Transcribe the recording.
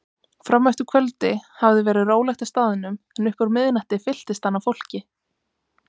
Frameftir kvöldi hafði verið rólegt á staðnum en upp úr miðnætti fylltist hann af fólki.